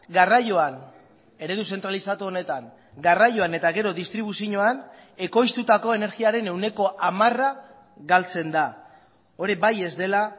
garraioan eredu zentralizatu honetan garraioan eta gero distribuzioan ekoiztutako energiaren ehuneko hamara galtzen da hori bai ez dela